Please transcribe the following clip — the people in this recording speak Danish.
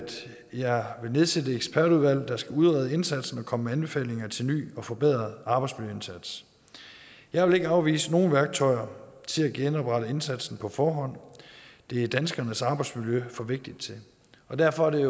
jeg vil nedsætte et ekspertudvalg der skal udrede indsatsen og komme med anbefalinger til ny og forbedret arbejdsmiljøindsats jeg vil ikke afvise nogen værktøjer til at genoprette indsatsen på forhånd det er danskernes arbejdsmiljø for vigtigt til og derfor er det